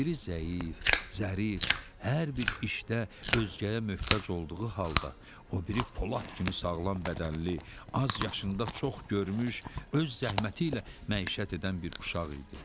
Biri zəif, zərif, hər bir işdə özgəyə möhtac olduğu halda, o biri polad kimi sağlam bədənli, azyaşında çox görmüş, öz zəhməti ilə məişət edən bir uşaq idi.